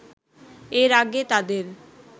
এর আগে তাদের